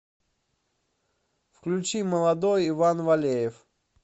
включи молодой иван валеев